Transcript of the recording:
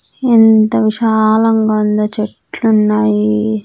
అక్కడ ఏదో రాసి పెట్టినాను ఇదేదో.